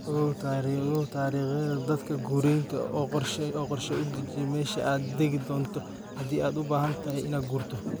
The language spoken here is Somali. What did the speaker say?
Ogow dariiqyadaada daadgureynta oo qorshe u deji meesha aad tagi doonto haddii aad u baahan tahay inaad guurto.